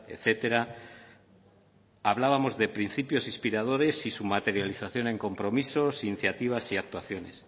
etcétera hablábamos de principios inspiradores y su materialización en compromisos iniciativas y actuaciones